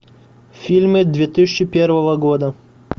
фильмы две тысячи первого года